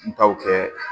N taw kɛ